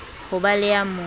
ho be le ya mo